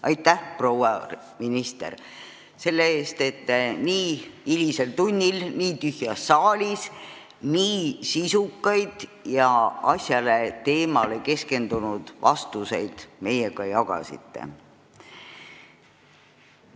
Aitäh, proua minister, selle eest, et te nii hilisel tunnil nii tühjas saalis nii sisukaid ja teemale keskendunud vastuseid meile andsite!